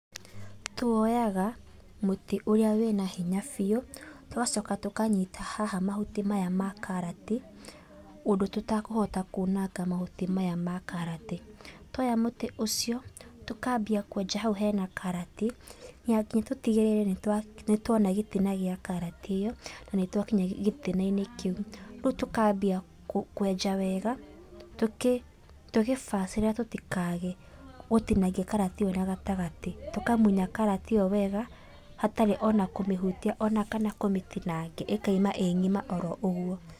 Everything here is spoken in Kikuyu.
Tuoyaga mũtĩ ũrĩa wĩna hinya biũ, tũgacoka tũkanyita haha mahuti maya ma karati, ũndũ tũtakũhota kũnanga mahuti maya ma karati. Tuoya mũtĩ ũcio, tũkambia kwenja hau hena karati, na nginya tũtigĩrĩre nĩtwona gĩtina gĩa karati ĩyo, na nĩtwakinya gĩtina-inĩ kĩũ. Rĩũ tũkambia kwenja wega, tũgĩ tũgĩbacĩrĩra tũtĩkae gũtinangia karati ĩyo na gatagatĩ. Tũkamunya karati ĩyo wega, hatarĩ ona kũmĩhutia kana ona kũmĩtinangia, ĩkauma ĩ ngima oro ũguo.